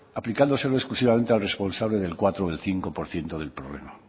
aplicándoselo exclusivamente al responsable del cuatro o cinco por ciento del problema